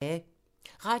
Radio 4